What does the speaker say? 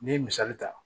N'i ye misali ta